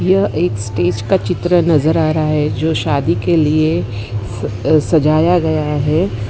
यह एक स्टेज का चित्र नजर आ रहा है जो शादी के लिए अह सजाया गया है।